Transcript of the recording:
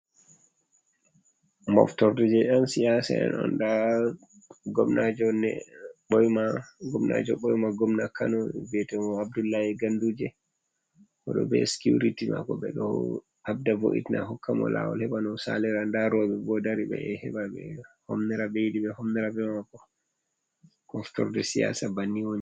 Moftorde je yan siyasa en on, nda gomnajo ɓoima, gomna kano vi'te mo Abdullai Ganduje, oɗo be sikuriti mako, ɓe ɗo habda vo’itina hokka mo lawol, hebano o salira nda rewɓe bo dari ɓe ɗo heɓa be homnira be mako moftorde siyasa banniwoni.